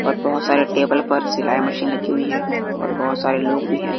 और बहोत सारा टेबल पर सिलाय मशीन लगी हुई हैं और बहोत सारे लोग भी हैं।